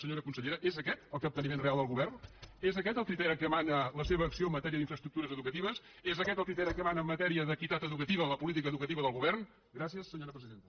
senyora consellera és aquest el capteniment real del govern és aquest el criteri que mana la seva acció en matèria d’infraestructures educatives és aquest el criteri que mana en matèria d’equitat educativa o la política educativa del govern gràcies senyora presidenta